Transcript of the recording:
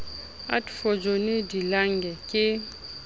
adv johnny de lange ke